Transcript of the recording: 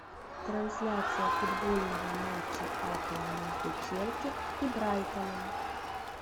трансляция футбольного матча апл между челси и брайтоном